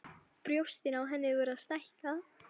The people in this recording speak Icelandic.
Brjóstin á henni voru að stækka.